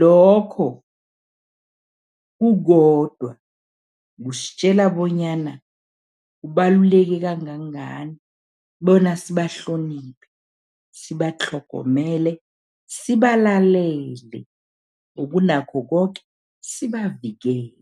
Lokho kukodwa kusitjela bonyana kubaluleke kangangani bona sibahloniphe, sibatlhogomele, sibalalele, ngokunakho koke, sibavikele.